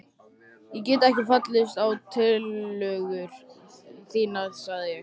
Ég get ekki fallist á tillögur þínar sagði ég.